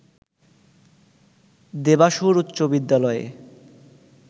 দেবাশুর উচ্চ বিদ্যালয়ে